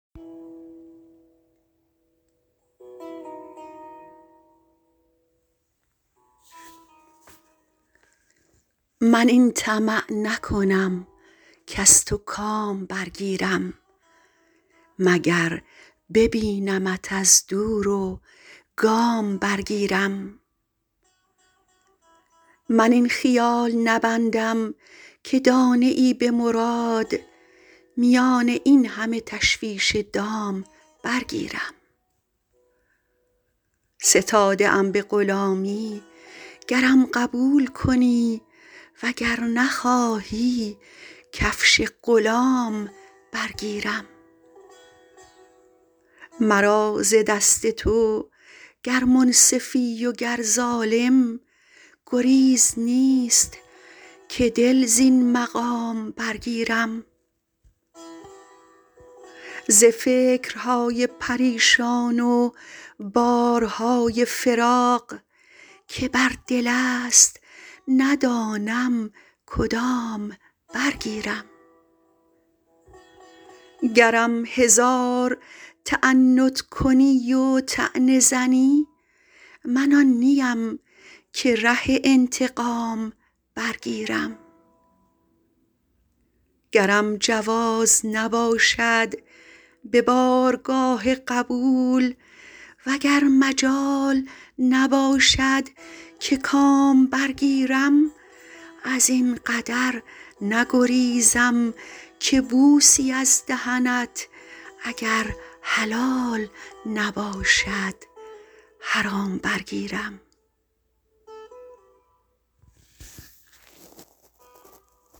من این طمع نکنم کز تو کام برگیرم مگر ببینمت از دور و گام برگیرم من این خیال نبندم که دانه ای به مراد میان این همه تشویش دام برگیرم ستاده ام به غلامی گرم قبول کنی و گر نخواهی کفش غلام برگیرم مرا ز دست تو گر منصفی و گر ظالم گریز نیست که دل زین مقام برگیرم ز فکرهای پریشان و بارهای فراق که بر دل است ندانم کدام برگیرم گرم هزار تعنت کنی و طعنه زنی من آن نیم که ره انتقام برگیرم گرم جواز نباشد به بارگاه قبول و گر مجال نباشد که کام برگیرم از این قدر نگریزم که بوسی از دهنت اگر حلال نباشد حرام برگیرم